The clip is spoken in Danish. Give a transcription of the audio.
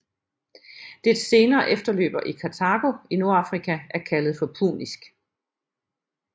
Dets senere efterløber i Kartago i Nordafrika er kaldet for punisk